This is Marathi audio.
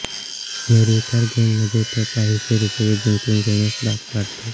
निर्विकार गेममध्ये तो काहीशे रुपये जिंकून घेण्यास भाग पाडतो